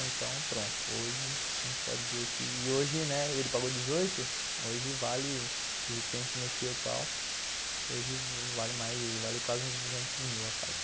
Então, pronto, hoje a gente pode dizer que... E hoje, né, ele pagou dezoito, hoje vale, do jeito que a gente mexeu e tal, hoje vale quase uns duzentos mil a casa.